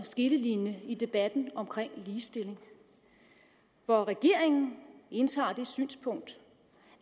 skillelinje i debatten om ligestilling hvor regeringen indtager det synspunkt